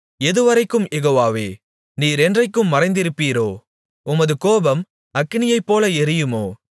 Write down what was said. எதுவரைக்கும் யெகோவாவே நீர் என்றைக்கும் மறைந்திருப்பீரோ உமது கோபம் அக்கினியைப்போல எரியுமோ